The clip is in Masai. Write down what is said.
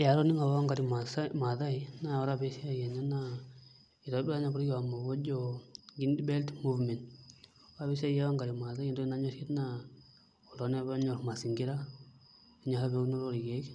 Ee atoning'o apa Wangari Mathaai naa ore apa esiai enye naa iterua apa orkioma obo ojo Green Belt Movement, ore apa esiai e Wangari Mathaai naa entoki nanyorie naa oltung'ani apa onyorr mazingira enyorr apa eunoto orkeek